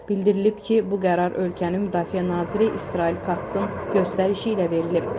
Bildirilib ki, bu qərar ölkənin müdafiə naziri İsrail Katsın göstərişi ilə verilib.